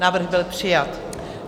Návrh byl přijat.